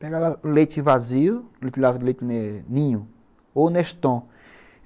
Pegava o leite vazio, o leite ninho ou neston.